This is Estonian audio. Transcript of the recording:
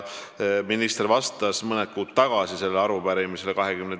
Minister mõni kuu tagasi, 22. jaanuaril s.